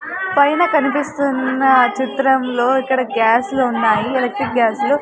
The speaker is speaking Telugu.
పైన కనిపిస్తున్నా చిత్రం లో ఇక్కడ గ్యాసులున్నాయి ఎలాట్రిక్ గ్యాసులు .